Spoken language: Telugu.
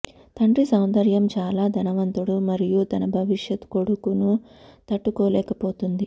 తండ్రి సౌందర్యం చాలా ధనవంతుడు మరియు తన భవిష్యత్ కొడుకును తట్టుకోలేకపోతుంది